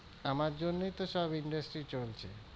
আমার জন্যেই তো সব industry চলছে,